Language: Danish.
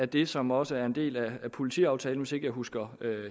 det som også er en del af politiaftalen hvis ikke jeg husker